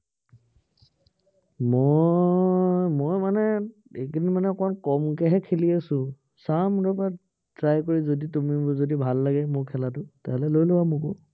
মই, মই মানে এইকেইদিন মানে অকনমান কমকেহে খেলি আছো। চাম ৰবা, try কৰি তুমি যদি ভাল লাগে, মোৰ খেলাটো, তেতিয়া হলে লৈ লবা মোকো।